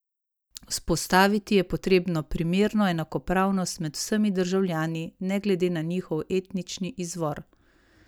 Vzpostaviti je potrebno primerno enakopravnost med vsemi državljani, ne glede na njihov etnični izvor.